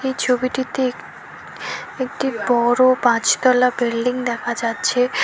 এই ছবিটিতে এক একটি বড় পাঁচ তলা বিল্ডিং দেখা যাচ্ছে।